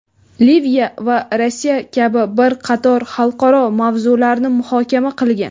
Liviya va Rossiya kabi bir qator xalqaro mavzularni muhokama qilgan.